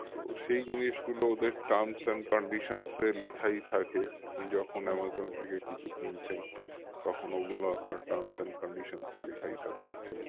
তো সেই জিনিসগুলো ওদের terms and conditions এ লেখাই থাকে আপনি যখন থেকে কিছু কিনছেন তখন ওগুলো আপনার terms and conditions এ লেখাই থাকে actually